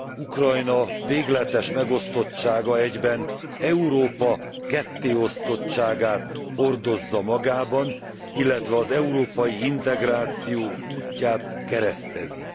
Ukrajna végletes megosztottsága egyben Európa kettéosztottságát hordozza magában, illetve az európai integráció útját keresztezi.